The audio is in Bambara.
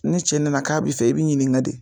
Ni cɛ nana k'a bɛ fɛ i bɛ ɲininga ka de.